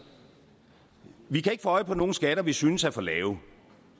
vi kan jo ikke få øje på nogen skatter vi synes er for lave